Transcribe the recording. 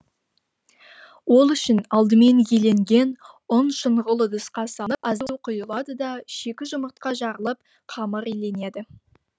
ол үшін алдымен еленген ұн шұңғыл ыдысқа салынып аздап су құйылады да шикі жұмыртқа жарылып қамыр иленеді